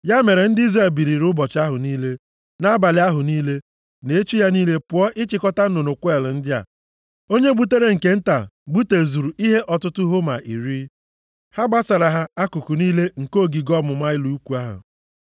Ya mere ndị Izrel biliri ụbọchị ahụ niile, na nʼabalị ahụ niile, na echi ya niile pụọ ịchịkọta nnụnụ kweel ndị a! Onye gbutere nke nta gbutezuru ihe ọtụtụ homa iri. Ha gbasara ha akụkụ niile nke ogige ọmụma ụlọ ikwu ahụ.